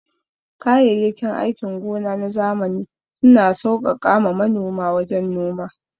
Kayayyakin aikin gona na zamani suna sauƙaƙa ma manoma wajen noma.